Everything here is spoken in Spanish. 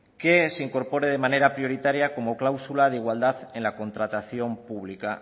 que se incorpore de manera prioritaria como cláusula de igualdad en la contratación pública